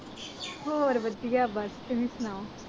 ਹੋਰ ਵਧੀਆ ਬਸ ਤੁਸੀਂ ਸੁਣਾਉ।